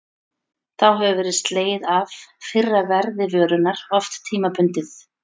Þá hefur verið slegið af fyrra verði vörunnar, oft tímabundið.